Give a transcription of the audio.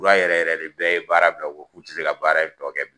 yɛrɛ yɛrɛ de bɛɛ ye baara bila ko k'u tɛ se ka baara in tɔ kɛ